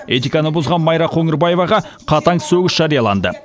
этиканы бұзған майра қоңырбаеваға қатаң сөгіс жарияланды